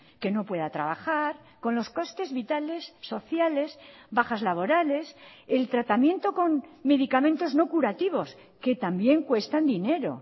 que no pueda trabajar con los costes vitales sociales bajas laborales el tratamiento con medicamentos no curativos que también cuestan dinero